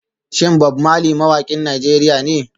Shin Bob Marley mawakin Najeriya ne?